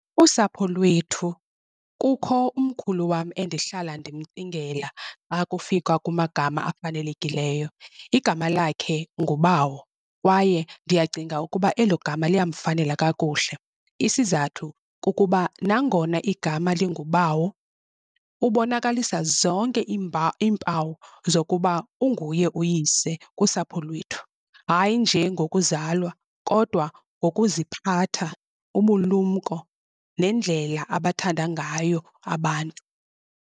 Usapho lwethu, kukho umkhulu wam endihlala ndimcingela akufika kumagama afanelekileyo. Igama lakhe nguBawo kwaye ndiyacinga ukuba elo gama liyamfanela kakuhle. Isizathu kukuba nangona igama linguBawo ubonakalisa zonke iimpawu zokuba unguye uyise kusapho lwethu, hayi nje ngokuzalwa kodwa ngokuziphatha, ubulumko nendlela abathanda ngayo abantu.